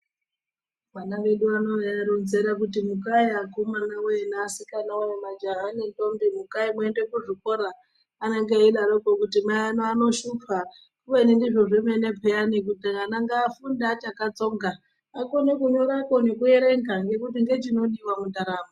Vana vedu vano tauvaronzera kuti mukai vakomana woye naasikana woye majaya nendombi mukai muende kuzvikora vanenge veiti mai vano vanonoshupa kubeni ndizvo zvemene peya kuti vana ngavafunde vachakatsonga vakone kunyora nekuerenga nekuti ndochinodiwa mundaramo.